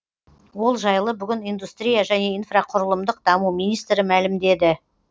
ол жайлы бүгін индустрия және инфрақұрылымдық даму министрі мәлімдеді